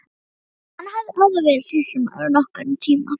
Hann hafði áður verið sýslumaður okkar um tíma.